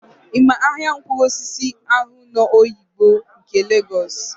Ị ma ahịa mkpụrụosisi ahụ nọ n'Oyigbo nke Legọs?